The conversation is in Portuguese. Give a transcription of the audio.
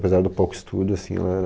Apesar do pouco estudo assim, ela era...